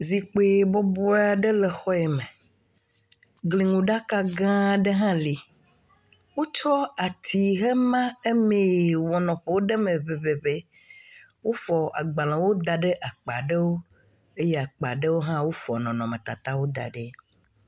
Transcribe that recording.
Zikpui bɔbɔɛ ɖe le xɔ yi me. Gliŋuɖaka gãaa ɖe hã le. Wotsɔ atiwo hema emeee wɔ nɔƒe ɖe eme ŋeŋeŋe. wofɔ agbalẽwo da ɖe akpa ɖewo eye akpa ɖewo hã, wofɔ nɔnɔmetatawo da ɖi.